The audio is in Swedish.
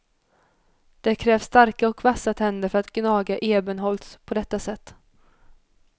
Det krävs starka och vassa tänder för att gnaga ebenholts på detta sätt.